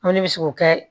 An ko ne bɛ se k'o kɛ